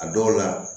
A dɔw la